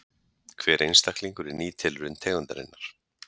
Hver einstaklingur er ný tilraun tegundarinnar.